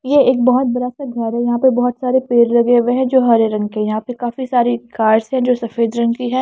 ये एक बहुत बड़ा सा घर है यहां पे बहुत सारे पेड़ लगे हुए हैं जो हरे रंग के यहां पे काफी सारी कार्स है जो सफेद रंग की है।